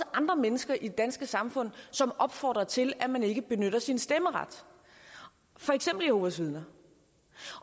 andre mennesker i det danske samfund som opfordrer til at man ikke benytter sin stemmeret for eksempel jehovas vidner